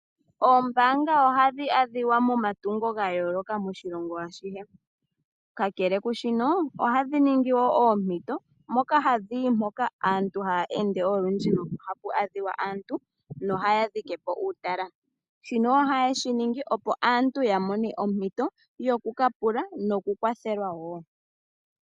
Oombanga ohadhi adhika momatungo ga yooloka moshilongo ashihe. Kakele ku shino, ohadhi ningi wo oompito moka hadhi yi mpoka puna aantu haya ende olundji, nohapu adhika aantu, nohaya dhike po uutala. Shino ohaye shi ningi opo aantu ya mone ompito yokukapula nokukwathelwa wo.